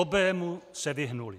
Obému se vyhnuli.